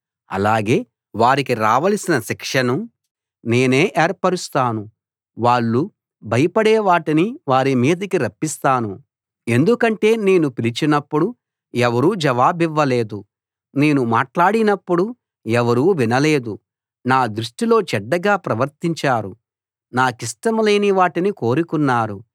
అలాగే వారికి రావలసిన శిక్షను నేనే ఏర్పరుస్తాను వాళ్ళు భయపడే వాటినే వారి మీదికి రప్పిస్తాను ఎందుకంటే నేను పిలిచినప్పుడు ఎవరూ జవాబివ్వలేదు నేను మాట్లాడినప్పుడు ఎవరూ వినలేదు నా దృష్టిలో చెడ్డగా ప్రవర్తించారు నాకిష్టం లేని వాటిని కోరుకున్నారు